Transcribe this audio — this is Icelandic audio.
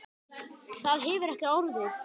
Það hefur ekki orðið.